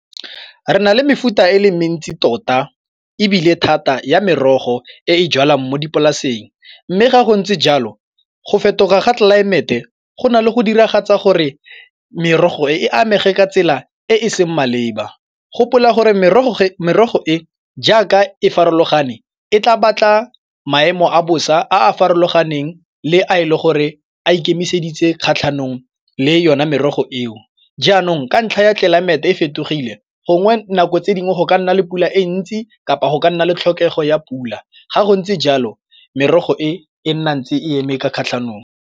Re na le mefuta e le mentsi tota ebile thata ya merogo e e jalwang mo dipolaseng mme ga go ntse jalo, go fetoga ga tlelaemete go na le go diragatsa gore merogo e amege ka tsela e e seng maleba. Gopola gore merogo merogo e jaaka e farologane e tla batla maemo a bosa a a farologaneng le a e le gore a ikemiseditse kgatlhanong le yone merogo eo. Jaanong ka ntlha ya tlelaemete e fetogile gongwe nako tse dingwe go ka nna le pula e ntsi kapa go ka nna le tlhokego ya pula ga go ntse jalo merogo e e nna ntse eme ka kgatlhanong.